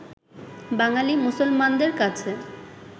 বাঙালি মুসলমানদের কাছে